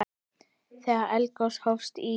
Þegar eldgos hófust í